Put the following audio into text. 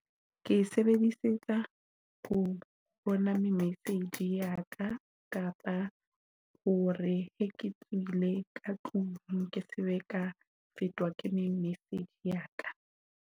Ke sebedisetsa ho bona message ya ka kapa hore he ke tswile ka tlung ke sebe ka fetwa ke me message ya ka.